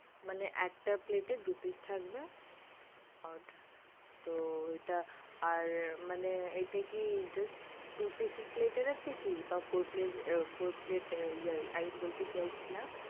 মানে একটা plate এ দু piece থাকবে, তো এইটা আর মানে এইটা কি just দু piece এর plate এর আছে কি? বা four plate এর four plate আমি বলতে চাইছিলাম,